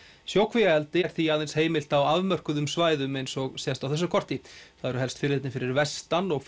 sjókvíaeldi er því aðeins heimilt á afmörkuðum svæðum eins og sést á þessu korti það eru helst firðirnir fyrir vestan og